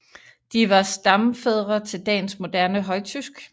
De var stamfædre til dagens moderne højtysk